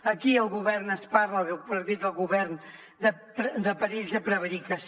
aquí el govern ens parla el partit del govern de perills de prevaricació